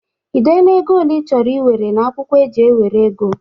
Ị dela ego ole ị chọrọ iwere n'akwụkwọ eji enwere ego?